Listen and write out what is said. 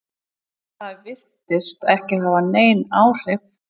Það virtist ekki hafa nein áhrif?